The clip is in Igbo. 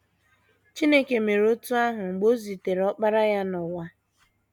Chineke mere otú ahụ mgbe o zitere Ọkpara ya n’ụwa.